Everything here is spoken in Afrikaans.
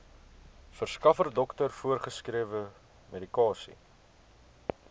verskaffer dokter voorgeskrewemedikasie